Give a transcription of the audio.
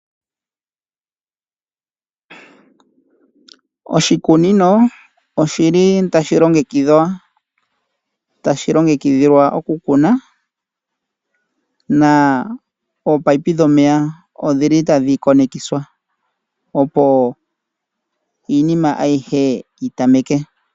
Oshikunino oshili tashi longekidhwa tashi longekidhilwa okukuna na ominino dhomeya odhili tadhi tulwa kumwe opo iinima ayihe yitameke.